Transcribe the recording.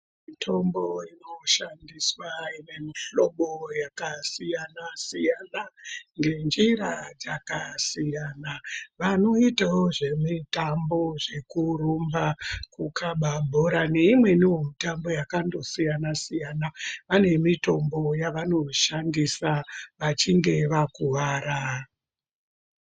Mitombo inoshandiswa ine mihlobo yakasiyana-siyana ngenjira dzakasiyana. Vanoitawo zvemitambo zvekurumba, kukaba bhora neimweniwo mitambo yakandosiyana-siyana, vane mitombo yavanoshandisa vachinge vakuvara.